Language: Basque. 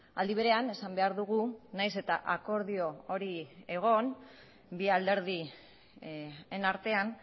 aldi berean esan behar dugu nahiz eta akordio hori egon bi alderdien artean